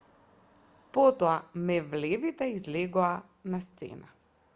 потоа мевлевите излегоа на сцена